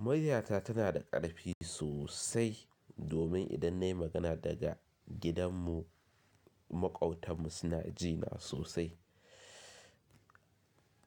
Muryata tana da ƙarfi sosai domin idan na yi magana daga gidanmu maƙwabtanmu suna jina sosai.